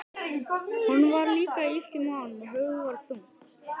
Honum var líka illt í maganum og höfuðið var þungt.